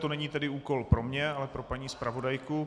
To není tedy úkol pro mě, ale pro paní zpravodajku.